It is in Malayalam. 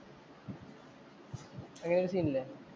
അങ്ങനെ ഒരു സീന്‍ ഇല്ലേ.